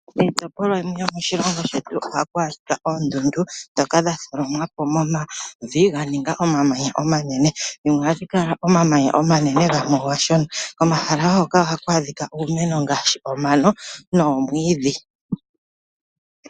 Kiitopolwa yimwe yomoshilongo shetu ohaku adhika oondundu ndhoka dha tholomwa po komavi ga ninga omamanya omanene. Dhimwe ohadhi kala omamanya omanene gamwe omashona. Komahala wo ngoka ohaku adhika uumeno ngaashi omano noomwiidhi.